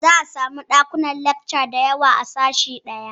Za a iya samun ɗakunan lakca da yawa a sashe ɗaya